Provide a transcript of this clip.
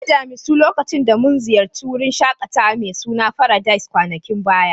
Na gan damisu lokacin da mun ziyace wurin shakatawa mai suna Paradise kwanakin baya.